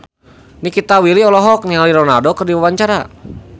Nikita Willy olohok ningali Ronaldo keur diwawancara